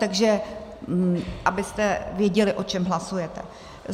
Takže abyste věděli, o čem hlasujete.